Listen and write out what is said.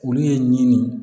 Olu ye ɲini